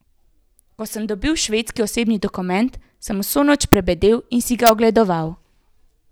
Ko sem dobil švedski osebni dokument, sem vso noč prebedel in si ga ogledoval.